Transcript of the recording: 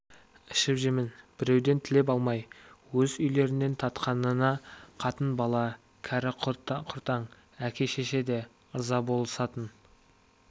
ішіп-жемін біреуден тілеп алмай өз үйлерінен татқанына қатын-бала кәрі-құртаң әке-шеше де ырза болысатын